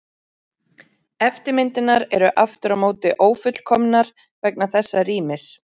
Eftirmyndirnar eru aftur á móti ófullkomnar vegna þessa rýmis.